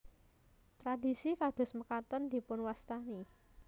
Tradisi kados mekaten dipunwastani